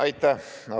Aitäh!